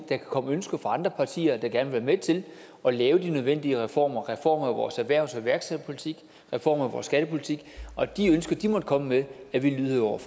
kan komme ønsker fra andre partier der gerne vil være med til at lave de nødvendige reformer reformer af vores erhvervs og iværksætterpolitik reformer af vores skattepolitik og de ønsker de måtte komme med er vi lydhøre over